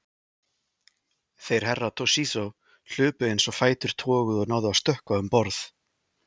Þeir Herra Toshizo hlupu eins og fætur toguðu og náðu að stökkva um borð.